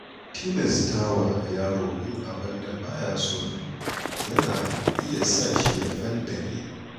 Tilastawa yaro yin abin da ba ya so, yana iya sashi ya fanɗare.